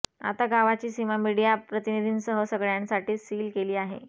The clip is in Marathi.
आता गावाची सीमा मीडिया प्रतिनिधींसह सगळ्यांसाठी सील केली आहे